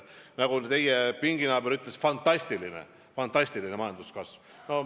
Nagu teie pinginaaber ütles: fantastiline majanduskasv.